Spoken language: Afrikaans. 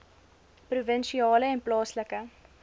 provinsiale en plaaslike